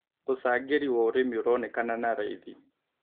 Ũcangĩrĩ wa ũrĩmĩ ũronekanan na raĩthĩ